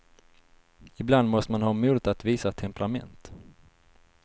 Ibland måste man ha modet att visa temperament.